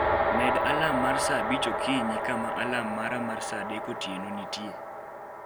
med alarm mar saa abich okinyi kama alarm mara mar saa adek otieno nitie